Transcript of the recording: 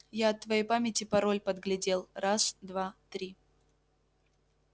я от твоей памяти пароль подглядел раз-два-три